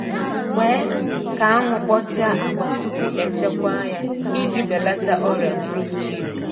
Kwe ka anwụ kpochaa agwa tupu echekwa ya iji belata ọrịa bruchid.